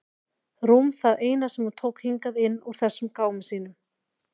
Rúm það eina sem hún tók hingað inn úr þessum gámi sínum.